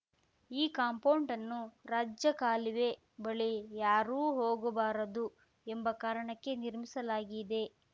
ಈ ಕಾಂಪೌಂಡ್‌ಅನ್ನು ರಾಜಕಾಲುವೆ ಬಳಿ ಯಾರು ಹೋಗಬಾರದು ಎಂಬ ಕಾರಣಕ್ಕೆ ನಿರ್ಮಿಸಲಾಗಿದೆ